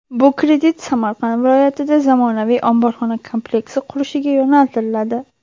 Bu kredit Samarqand viloyatida zamonaviy omborxona kompleksi qurilishiga yo‘naltiriladi.